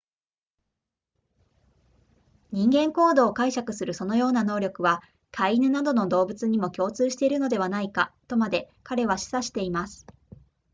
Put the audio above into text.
人間行動を解釈するそのような能力は飼い犬などの動物にも共通しているのではないかとまで彼は示唆しています